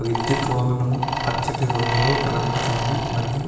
విద్యుత్తు వాహనం పచ్చటి రంగులో కనబడుతున్నది మరియు.